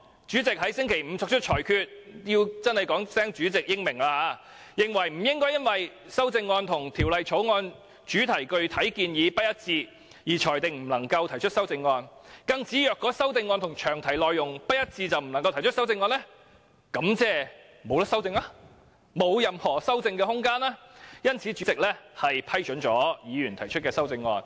主席在星期五作出裁決——我真的要說聲"主席英明"——認為不應該因為修正案與法案詳題的特定建議不一致，便裁定不能夠提出，更指如果修正案和詳題內容不一致便不能夠提出，便意味法案沒有任何修正的空間，所以主席批准議員提出修正案。